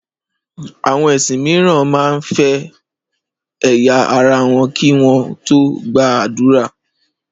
Àwọn ẹ̀sìn míràn man fọ ẹ̀yà ara wọn kì wọn tó gbà ádùrá